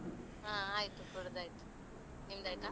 ಹಾ ಆಯ್ತು ಕುಡ್ದಾಯ್ತು. ನಿಮ್ದಾಯ್ತಾ?